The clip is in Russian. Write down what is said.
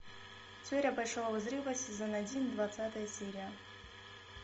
теория большого взрыва сезон один двадцатая серия